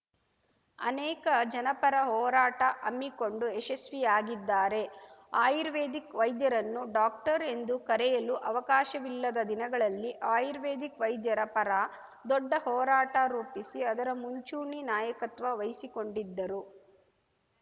ಅನೇಕ ಜನಪರ ಹೋರಾಟ ಹಮ್ಮಿಕೊಂಡು ಯಶಸ್ವಿಯಾಗಿದ್ದಾರೆ ಆಯುರ್ವೇದಿಕ್‌ ವೈದ್ಯರನ್ನು ಡಾಕ್ಟರ್‌ ಎಂದು ಕರೆಯಲು ಅವಕಾಶವಿಲ್ಲದ ದಿನಗಳಲ್ಲಿ ಆಯುರ್ವೇದಿಕ್‌ ವೈದ್ಯರ ಪರ ದೊಡ್ಡ ಹೋರಾಟ ರೂಪಿಸಿ ಅದರ ಮುಂಚೂಣಿ ನಾಯಕತ್ವ ವಹಿಸಿಕೊಂಡಿದ್ದರು